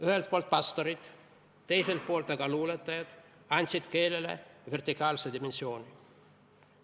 Ühelt poolt pastorid, teiselt poolt aga luuletajad andsid keelele vertikaalse dimensiooni.